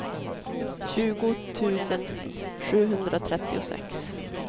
tjugo tusen sjuhundratrettiosex